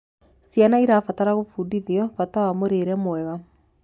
Ciana irabatara gubundithio bata wa mũrĩre mwega